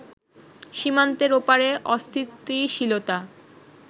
সীমান্তের ওপারে অস্থিতিশীলতা